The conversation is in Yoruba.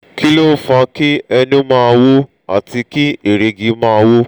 kilon fa ki enu ma wu ati ki erigi ma wu?